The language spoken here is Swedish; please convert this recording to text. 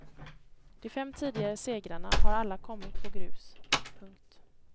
De fem tidigare segrarna har alla kommit på grus. punkt